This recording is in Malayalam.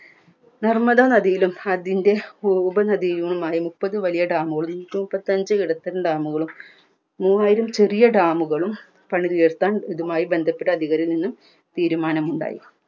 നർമ്മദാ നദിയിലും അതിൻറെ ഉത്ഭവ നദിയിലുമായി മുപ്പതു വലിയ dam കളും നൂറ്റിമുപ്പത്തഞ്ച് നടുത്തുള്ള dam കളും മൂവായിരം ചെറിയ dam കളും പണിതുയർത്താൻ ഇതുമായി ബന്ധപ്പെട്ട അധികാരികളിൽ നിന്നും തീരുമാനമുണ്ടായി